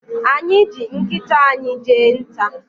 Anyị ji nkịta anyị jee nta.